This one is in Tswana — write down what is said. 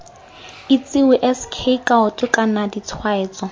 itsewe sk kaoto kana ditshwaetso